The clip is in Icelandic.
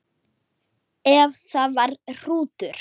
Ef það var hrútur.